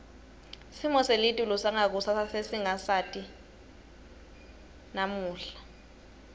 simo selitulu sangakusasa sesingasati namuhla